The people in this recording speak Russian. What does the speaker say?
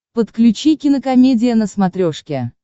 подключи кинокомедия на смотрешке